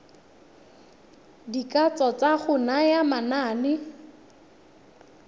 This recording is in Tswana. dikatso tsa go naya manane